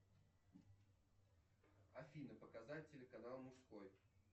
афина показать телеканал мужской